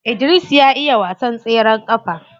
Idris ya iya wasan tseren kafa.